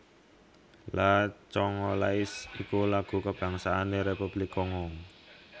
La Congolaise iku lagu kabangsané Republik Kongo